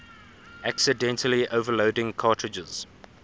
accidentally overloading cartridges